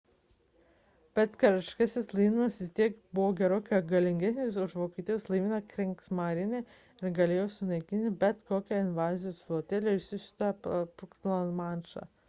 bet karališkasis laivynas vis tiek buvo gerokai galingesnis už vokietijos laivyną kriegsmarine ir galėjo sunaikinti bet kokią invazijos flotilę išsiųstą perplaukti lamanšą